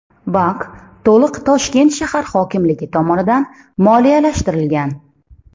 Bank to‘liq Toshkent shahar hokimligi tomonidan moliyalashtirilgan.